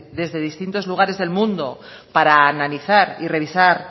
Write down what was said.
desde distintos lugares del mundo para analizar y revisar